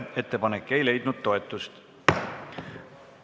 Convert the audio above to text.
Ettepanek ei leidnud toetust.